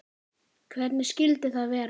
Hvernig skyldi það vera?